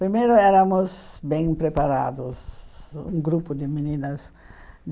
Primeiro éramos bem preparados, um grupo de meninas.